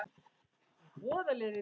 Hann vill fljúga.